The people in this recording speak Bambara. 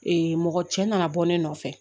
mɔgɔ cɛ nana bɔ ne nɔfɛ